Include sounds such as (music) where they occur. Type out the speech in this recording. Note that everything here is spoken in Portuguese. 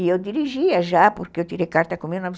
E eu dirigia já, porque eu tirei carta com mil novecentos (unintelligible)